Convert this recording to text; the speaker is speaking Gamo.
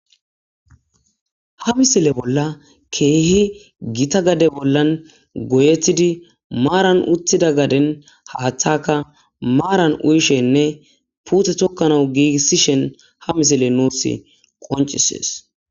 ha misile bolla keehi gita gade bollan goyetidi maaran utida gaden haaththakka maaran uyishenne puute thokkanau giigissishen ha misiley nussi qoncishees